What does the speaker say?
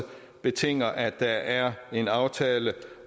betinger sig at der er en aftale